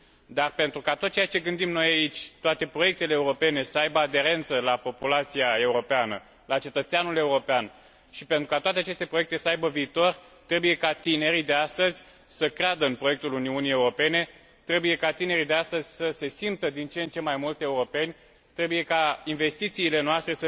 Dar, pentru ca tot ceea ce gândim noi aici, ca toate proiectele europene să aibă aderență la populația europeană, la cetățeanul european și pentru ca toate aceste proiecte să aibă viitor, trebuie ca tinerii de astăzi să creadă în proiectul Uniunii Europene, trebuie ca tinerii de astăzi să se simtă din ce în ce mai mult europeni, trebuie ca investițiile noastre